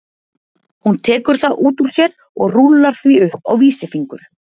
Hún tekur það út úr sér og rúllar því upp á vísifingur.